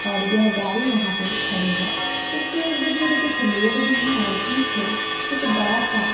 और यह गाड़ी यहां पे खड़ी है इसके इर्द गिर्द कुछ लोग भी हैं और पीछे एक बड़ा सा--